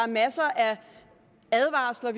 masser af advarsler